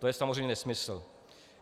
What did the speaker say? To je samozřejmě nesmysl.